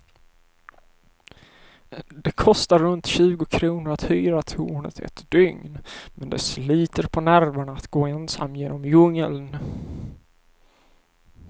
Det kostar runt tjugo kronor att hyra tornet ett dygn, men det sliter på nerverna att gå ensam genom djungeln.